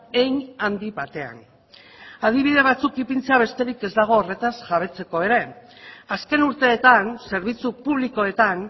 hein handi batean adibide batzuk ipintzea besterik ez dago horretaz jabetzeko ere azken urteetan zerbitzu publikoetan